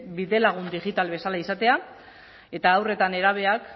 bidelagun digital bezala izatea eta haur eta nerabeak